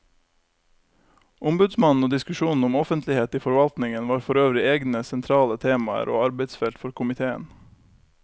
Ombudsmannen og diskusjonen om offentlighet i forvaltningen var forøvrig egne sentrale temaer og arbeidsfelt for komiteen.